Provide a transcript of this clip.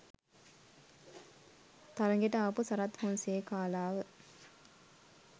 තරගෙට ආපු සරත් ෆොන්සේකාලාව